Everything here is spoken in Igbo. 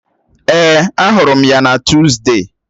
Èè, ahụrụ m ya na Tuzdee